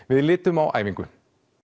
við litum á æfingu